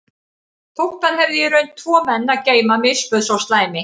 Þótt hann hefði í raun tvo menn að geyma misbauð sá slæmi